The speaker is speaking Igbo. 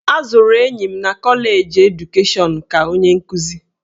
A zụrụ enyi m na kọleji edukeshọnụ ka onye nkuzi.